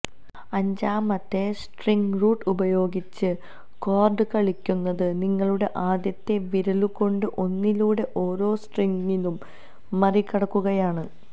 അഞ്ചാമത്തെ string root ഉപയോഗിച്ച് chord കളിക്കുന്നത് നിങ്ങളുടെ ആദ്യത്തെ വിരലുകൊണ്ട് ഒന്നിലൂടെ ഓരോ സ്ട്രിങ്ങുകളും മറികടക്കുകയാണ്